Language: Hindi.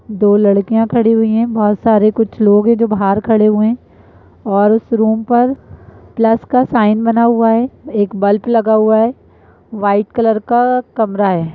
दो लड़कियां खड़ी हुई हैं। बहोत सारें कुछ लोग हैं जो बाहर खड़े हुए हैं और उस रूम पर प्लस का साइन बना हुआ है। एक बल्प लगा हुआ है। वाइट कलर का कमरा है।